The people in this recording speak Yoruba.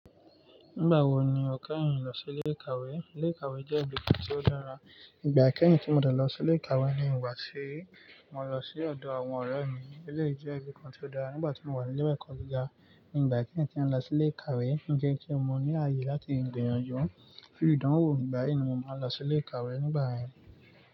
Nígbà wo ni o kẹ́yìn lọ sí ilé ìkàwé? Ilé ìkàwé jẹ́ ibìkan tí ó dára. Ígbà ikẹ́yìn tí mo dà lọ sí ilé ìkàwé ni ìgbà tí mo lọ sí ọ̀dọ̀ àwọn ọ̀rẹ́ mi. Éléyì jẹ́ ibìkan tí ó dá. Nígbà tí mo wà ní iléwé ẹ̀kọ́ gíga, nígbà ikẹ́yìn tí mo lọ sí ilé ìkàwé. Ó jẹ́ kí n ní ààyè láti gbìyànjú. Kí ìdánwò nígbà yìí ni mo máa n lọ sí ilé ìkàwé nígbà yen.